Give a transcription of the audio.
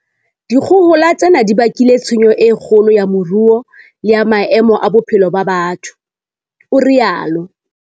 Dikgohola tsena di bakile tshenyo e kgolo ya moruo le ya maemo a bophelo ba batho, o rialo